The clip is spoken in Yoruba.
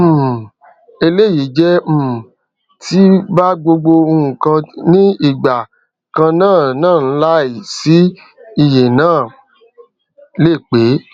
um eléyìí jẹ um tí bá gbogbo ǹkan ní ìgbà kanannáànláì sí ìyẹnó lè pé